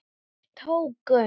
Þeir tóku